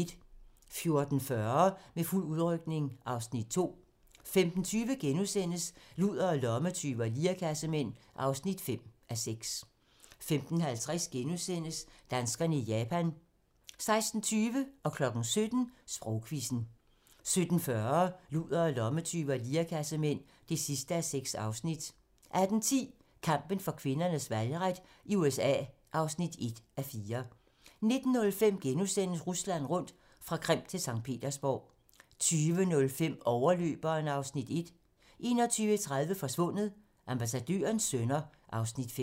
14:40: Med fuld udrykning (Afs. 2) 15:20: Ludere, lommetyve og lirekassemænd (5:6)* 15:50: Danskerne i Japan * 16:20: Sprogquizzen 17:00: Sprogquizzen 17:40: Ludere, lommetyve og lirekassemænd (6:6) 18:10: Kampen for kvinders valgret i USA (1:4) 19:05: Rusland rundt - fra Krim til Skt. Petersborg * 20:05: Overløberen (Afs. 1) 21:30: Forsvundet: Ambassadørens sønner (Afs. 5)